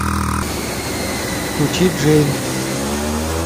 включи джейн